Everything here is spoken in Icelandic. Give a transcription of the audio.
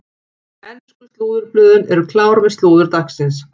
Ensku slúðurblöðin eru klár með slúður dagsins.